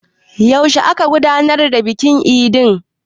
Yaushe aka gudanar da bikin idin?